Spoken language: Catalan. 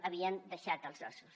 hi havien deixat els ossos